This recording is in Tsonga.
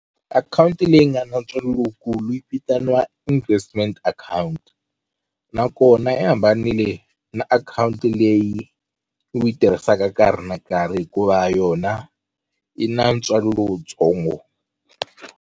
Akhawunti leyi nga na ntswalo lowukulu yi vitaniwa investment account nakona yi hambanile na akhawunti leyi u yi tirhisaka nkarhi na nkarhi hikuva yona yi na ntswalo lowutsongo.